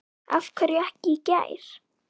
Af hverju ekki í gær?